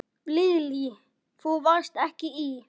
Lillý: Þú varst ekki í?